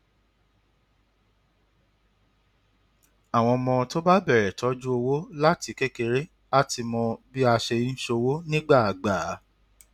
àwọn ọmọ tó bá bẹrẹ tọjú owó láti kékeré á ti mọ bí a ṣe ń ṣọwó nígbà àgbà